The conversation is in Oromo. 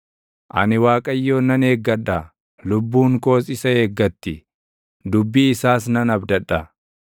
Ani Waaqayyoon nan eeggadha; lubbuun koos isa eeggatti; dubbii isaas nan abdadha.